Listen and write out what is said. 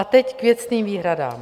A teď k věcným výhradám.